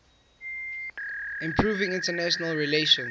improving international relations